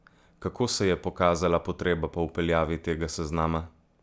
Kako se je pokazala potreba po vpeljavi tega seznama?